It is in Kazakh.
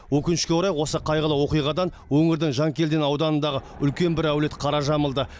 өкінішке орай осы қайғылы оқиғадан өңірдің жанкелдин ауданындағы үлкен бір әулет қара жамылды